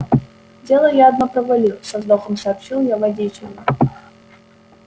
дело я одно провалил со вздохом сообщил я водителю